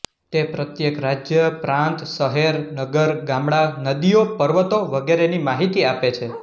તે પ્રત્યેક રાજ્ય પ્રાંત શહેર નગર ગામડાં નદીઓ પર્વતો વગરેની માહિતી આપે છે